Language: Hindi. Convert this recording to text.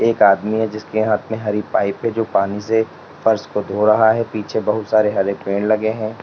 एक आदमी है जिसके हाथ में हरी पाइप है जो पानी से फर्श को धो रहा है और पीछे बहुत सारे हरे पेड़ लगे हैं।